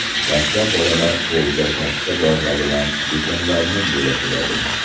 Dastlab bolalar qo‘lda katta bolg‘a bilan betonlarni bo‘lakladi.